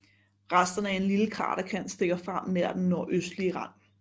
Resterne af en lille kraterkant stikker frem nær den nordøstlige rand